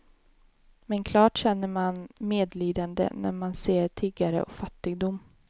Men klart känner man medlidande när man ser tiggare och fattigdom.